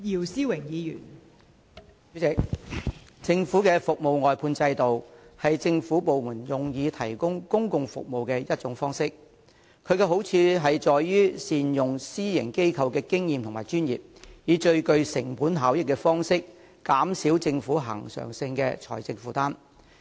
代理主席，政府的服務外判制度是政府部門提供公共服務的其中一種方式，其好處在於善用私營機構的經驗和專業，以最具成本效益的方式減少政府恆常的財政負擔。